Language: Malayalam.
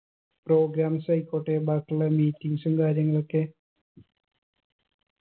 programmes ആയിക്കോട്ടെ ബാക്കിയുള്ള meetings ഉം കാര്യങ്ങളൊക്കെ